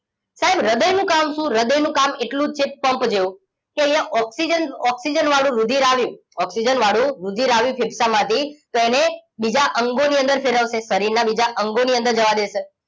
સાહેબ હૃદયનું કામ શું હૃદયનું કામ એટલું જ છે પંપ જેવું કે અહીંયા ઓક્સિજન વાળું રુધિર આવ્યું ઓક્સિજન વાળું રુધિર આવ્યું ફેફસામાંથી તો એને બીજા અંગોની અંદર ફેરવશે શરીરના બીજા અંગોની અંદર જવા દેશે